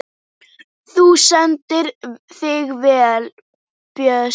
Þú stendur þig vel, Árbjörg!